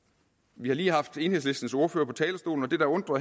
vi har lige haft enhedslistens ordfører på talerstolen og det der undrer